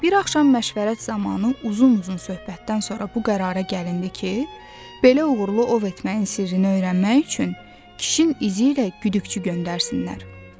Bir axşam məşvərət zamanı uzun-uzun söhbətdən sonra bu qərara gəlindi ki, belə uğurlu ov etməyin sirrini öyrənmək üçün kişinin izi ilə güdükçü göndərsinlər.